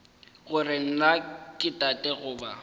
gore na ke tate goba